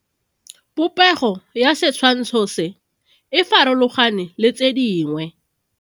Popego ya setshwantsho se, e farologane le tse dingwe.